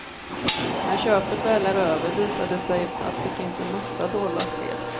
När köpet väl är över visar det sig att det finns en massa dolda fel.